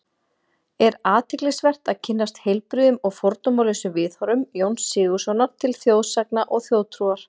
Er athyglisvert að kynnast heilbrigðum og fordómalausum viðhorfum Jóns Sigurðssonar til þjóðsagna og þjóðtrúar.